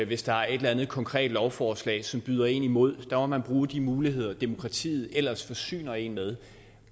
hvis der er et eller andet konkret lovforslag som byder en imod der må man bruge de muligheder demokratiet ellers forsyner en med